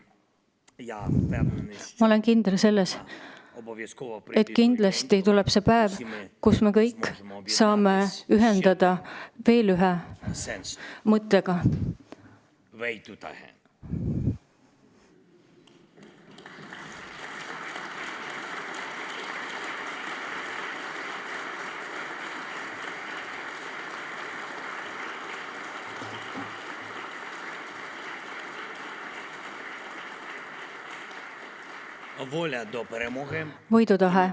Ma olen kindel selles, et kindlasti tuleb see päev, kui meid kõiki ühendab veel üks sõna: võidutahe.